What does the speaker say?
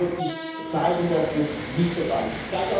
Ich glaube, es wird sich zeigen, dass dies nicht der Fall ist.